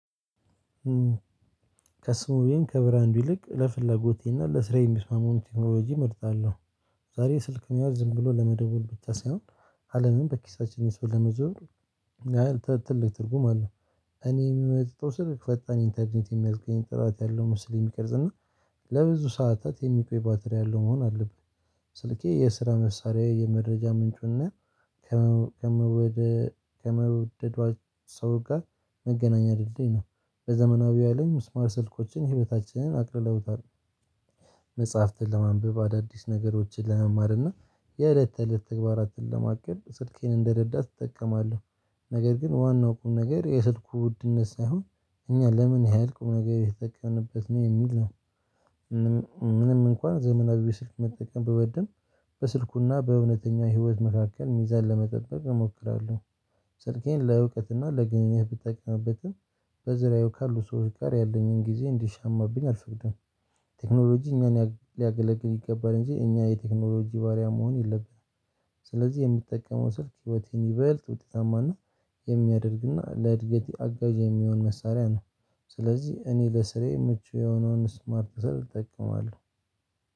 ከስሙየም ከብራንዱ ይልቅ ለፍላጎቴና ለስራዬ የሚስማመውን ቴክኖሎጂ እመርጣለሁ። ዛሬ ስልክ ነው ያው ዝም ብሎ ለመደወል ብቻ ሳይሆን አለምን በኪሳችን ይዞ ለመዘወር። ምን ያህል ት ትልቅ ትርጉም አለው? እኔ የምመርጠው ስልክ ፈጣን ኢንተርኔት የሚያስገኝ ጥራት ያለው ምስል የሚቀርጽ እና ለብዙ ሰዓታት የሚቆይ ባትሪ ያለው መሆን አለበት። ስልኬ የስራ መሳሪያዬ የመረጃ ምንጩና ከመ ከመ ከመውደዷ ሰው ጋር መገናኛ ድልድይ ነው። በዘመናዊው አለም ስማርት ስልኮችን ህይወታችንን አቅልለውታል። መጽሐፍትን ለማንበብ አዳዲስ ነገሮችን ለመማርና የእለት ተእለት ተግባራትን ለማቀድ ስልኬን እንደረዳት እጠቀማለሁ። ነገር ግን ዋናው ቁም ነገር የስልኩ ውድነት ሳይሆን እኛ ለምን ያህል ቁም ነገር እየተጠቀምንበት ነው የሚል ነው። ምንም እ ምንም እንኳን ዘመናዊ ስልክ መጠቀም ብወድም በስልኩና በእውነተኛ ህይወት መካከል ሚዛን ለመጠበቅ እሞክራለሁ። ስልኬን ለእውቀትና ለግንኙነት ብጠቀምበትም በዙርያው ካሉ ሰዎች ጋር ያለኝን ጊዜ እንዲሻማብኝ አልፈልግም። ቴክኖሎጂ እኛን ያ ሊያገለግል ይገባል እንጂ እኛ የቴክኖሎጂ ባሪያ መሆን የለብንም። ስለዚህ የምጠቀመው ስልክ ህይወቴን ይበልጥ ውጤታማና የሚያደርግና ለእድገቴ አጋዥ የሚሆን መሳሪያ ነው። ስለዚህ እኔ ለስራዬ ምቹ የሆነውን ስማርት ስልክ እጠቀማለሁ።